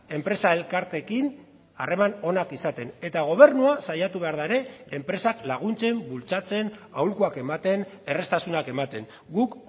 enpresa elkarteekin harreman onak izaten eta gobernua saiatu behar da ere enpresak laguntzen bultzatzen aholkuak ematen erraztasunak ematen guk